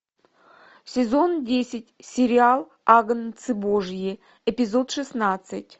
сезон десять сериал агнцы божьи эпизод шестнадцать